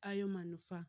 hayo manufaa.